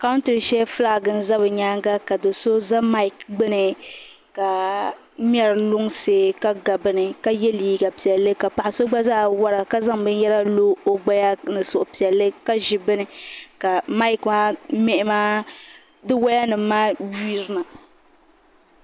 Country sheli flag n ƶa bɛ nyaaŋa ka do so ƶa mik gbɛni ka mŋari lunŋsi ka ga bɛni ka yɛ liɛga piɛlli ka paɣa so gba ƶaa wara ka ƶanŋ bɛnyara lo o gbaya ni suhi piɛlli ka ƶi bɛni ka mic maa waya nim maa yirina.